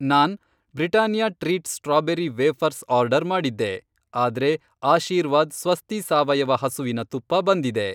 ನಾನ್ Britannia treat strawberry wafers order ಮಾಡಿದ್ದೆ, ಆದ್ರೆ ಆಶೀರ್ವಾದ್ ಸ್ವಸ್ತಿ ಸಾವಯವ ಹಸುವಿನ ತುಪ್ಪ ಬಂದಿದೆ.